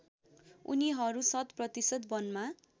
उनीहरू शतप्रतिशत वनमा